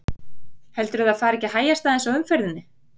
Heldurðu að það fari ekki að hægjast aðeins á umferðinni?